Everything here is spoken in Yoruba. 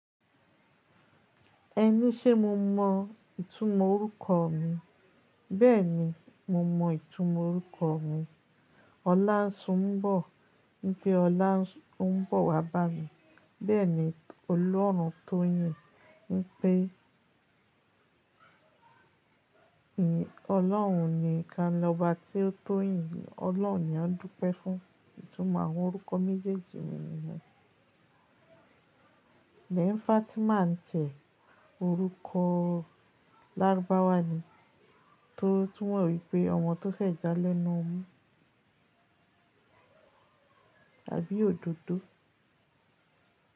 Ẹni ṣé mo mọ ìtumọ̀ orúkọ mi? Bẹ́ẹ̀ni, mo mọ ìtumọ̀ orúkọ mi. Ọlánsùnmbọ̀ ń pẹ́ ọlá ń bọ̀ wá bá mi. Bẹ́ẹ̀ ni Olórun tó yìn ń pẹ́. Ọlọ́run niìkan lọ́ba tí ó tó yìn. Ọlọ́run ni wọ́n dúpẹ́ fún. Ìtumọ̀ àwọn orúkọ méjèèjì mi ni náà. Bẹ́ẹ̀ ni Fatima ńí tiẹ orúkọ Lárúbáwátó túmọ̀ wípé ọmọ tó ṣẹ̀ṣẹ̀ já lẹ́nu ọmú àbí òdòdó.